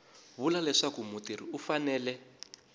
vula leswaku mutirhi u fanele